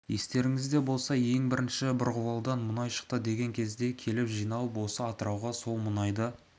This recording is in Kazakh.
естеріңізде болса жылы ең бірінші бұрғылаудан мұнай шықты деген кезде келіп жиналып осы атырауға сол мұнайды